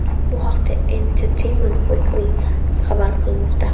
Bu haqda Entertainment Weekly xabar qilmoqda .